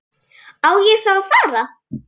Á ég þá að fara.